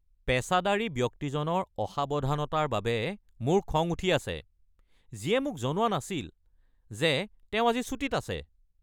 পেচাদাৰী ব্যক্তিজনৰ অসাৱধানতাৰ বাবে মোৰ খং উঠি আছে যিয়ে মোক জনোৱা নাছিল যে তেওঁ আজি ছুটীত আছে।